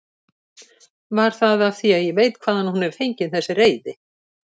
Var það af því ég veit hvaðan hún er fengin þessi reiði?